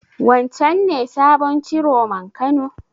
Wancen ne sabon Ciroman Kano?